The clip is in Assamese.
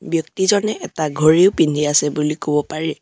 ব্যক্তিজনে এটা ঘড়ীও পিন্ধি আছে বুলি ক'ব পাৰি।